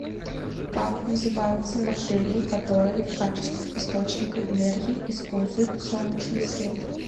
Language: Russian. как называются бактерии которые в качестве источника энергии используют солнечный свет